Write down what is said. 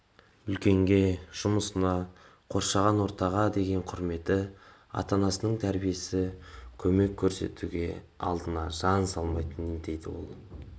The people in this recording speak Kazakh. үлкенге жұмысына қоршаған ортаға деген құрметі ата-анасының тәрбиесі көмек көрсетуде алдына жан салмайтын деді ол